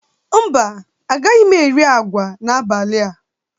Mba, agaghị m eri agwa n'abalị a